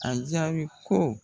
A jaabi ko